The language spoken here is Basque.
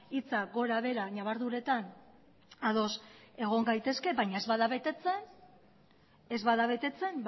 hitzak gora behera nabarduretan ados egon gaitezke baina ez bada betetzen